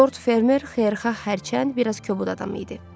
Lord Fermer xeyirxah, hərçənd biraz kobud adam idi.